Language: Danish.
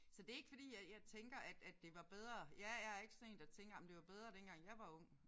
Så det er ikke fordi at jeg tænker at at det var bedre. Jeg er ikke sådan en der tænker jamen det var bedre dengang jeg var ung